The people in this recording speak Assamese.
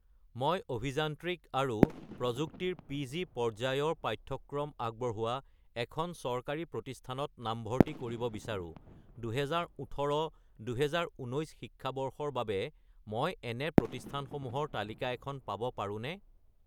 মই অভিযান্ত্ৰিক আৰু প্ৰযুক্তি ৰ পি.জি. পৰ্যায়ৰ পাঠ্যক্ৰম আগবঢ়োৱা এখন চৰকাৰী প্ৰতিষ্ঠানত নামভৰ্তি কৰিব বিচাৰোঁ, 2018 - 2019 শিক্ষাবৰ্ষৰ বাবে মই এনে প্ৰতিষ্ঠানসমূহৰ তালিকা এখন পাব পাৰোঁনে?